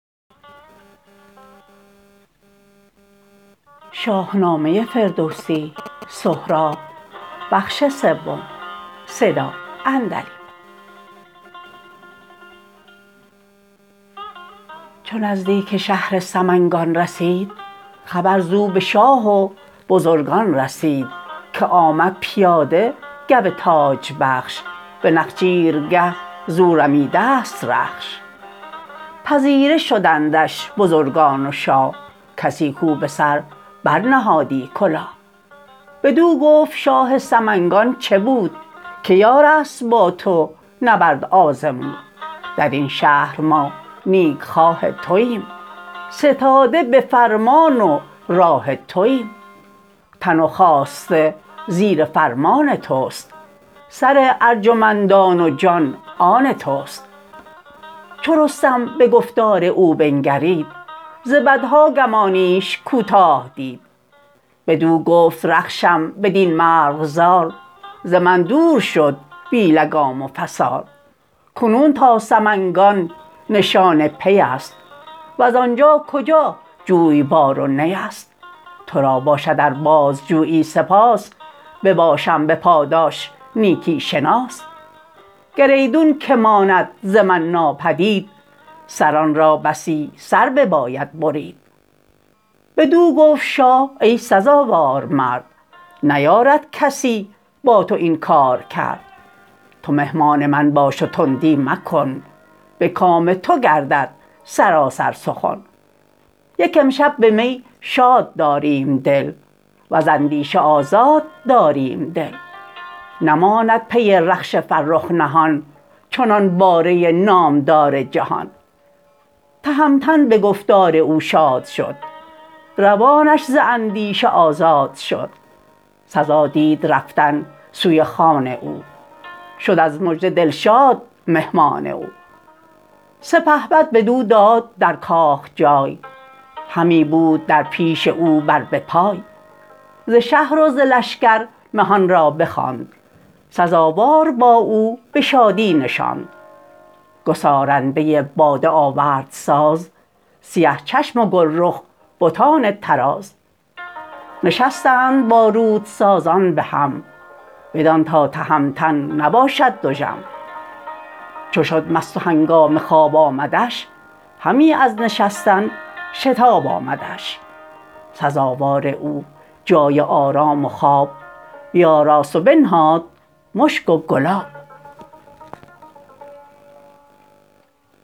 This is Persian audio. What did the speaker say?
چو نزدیک شهر سمنگان رسید خبر زو بشاه و بزرگان رسید که آمد پیاده گو تاج بخش به نخچیرگه زو رمیدست رخش پذیره شدندش بزرگان و شاه کسی کاو بسر بر نهادی کلاه بدو گفت شاه سمنگان چه بود که یارست با تو نبرد آزمود درین شهر ما نیکخواه توایم ستاده بفرمان و راه توایم تن و خواسته زیر فرمان تست سر ارجمندان و جان آن تست چو رستم به گفتار او بنگرید ز بدها گمانیش کوتاه دید بدو گفت رخشم بدین مرغزار ز من دور شد بی لگام و فسار کنون تا سمنگان نشان پی است وز آنجا کجا جویبار و نی است ترا باشد ار بازجویی سپاس بباشم بپاداش نیکی شناس گر ایدون که ماند ز من ناپدید سران را بسی سر بباید برید بدو گفت شاه ای سزاوار مرد نیارد کسی با تو این کار کرد تو مهمان من باش و تندی مکن به کام تو گردد سراسر سخن یک امشب به می شاد داریم دل وز اندیشه آزاد داریم دل نماند پی رخش فرخ نهان چنان باره نامدار جهان تهمتن به گفتار او شاد شد روانش ز اندیشه آزاد شد سزا دید رفتن سوی خان او شد از مژده دلشاد مهمان او سپهبد بدو داد در کاخ جای همی بود در پیش او بر به پای ز شهر و ز لشکر مهانرا بخواند سزاوار با او به شادی نشاند گسارنده باده آورد ساز سیه چشم و گلرخ بتان طراز نشستند با رودسازان به هم بدان تا تهمتن نباشد دژم چو شد مست و هنگام خواب آمدش همی از نشستن شتاب آمدش سزاوار او جای آرام و خواب بیاراست و بنهاد مشک و گلاب